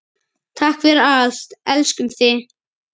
Takk fyrir allt, elskum þig.